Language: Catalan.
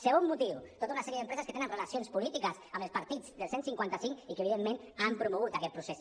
segon motiu tota una sèrie d’empreses que tenen relacions polítiques amb els partits del cent i cinquanta cinc i que evidentment han promogut aquest procés